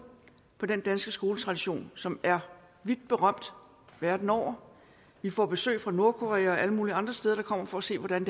på den danske skoletradition som er vidt berømt verden over vi får besøg fra nordkorea og alle mulige andre steder der kommer for at se hvordan